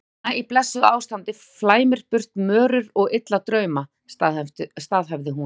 Kona í blessuðu ástandi flæmir burt mörur og illa drauma, staðhæfði hún.